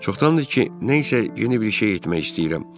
Çoxdandır ki, nə isə yeni bir şey etmək istəyirəm.